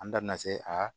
An da bina se aa